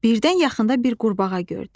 Birdən yaxında bir qurbağa gördü.